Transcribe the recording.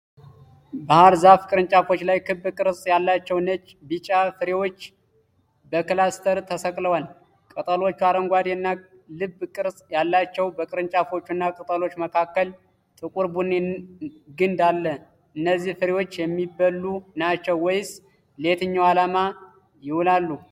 በባህር ዛፍ ቅርንጫፎች ላይ ክብ ቅርጽ ያላቸው ነጭ/ቢጫ ፍሬዎች በክላስተር ተሰቅለዋል። ቅጠሎቹ አረንጓዴ እና ልብ ቅርጽ አላቸው። በቅርንጫፎቹ እና ቅጠሎች መካከል ጥቁር ቡኒ ግንድ አለ። እነዚህ ፍሬዎች የሚበሉ ናቸው ወይስ ለየትኛው ዓላማ ይውላሉ?